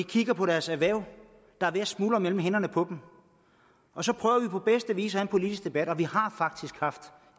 kigger på deres erhverv der er ved at smuldre mellem hænderne på dem og så prøver vi på bedste vis at have en politisk debat og vi har faktisk haft